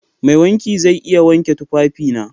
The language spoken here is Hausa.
Mai wanki zai iya wanke tufafina?